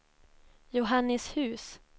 Johannishus